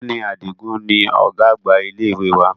Ọ̀gbẹ́ni Adigun ni ọ̀gá àgbà ilé ìwé wa